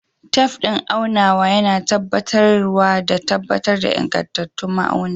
Tef din aunawa yana taimakawa tabbatar da ingantattu ma’auni.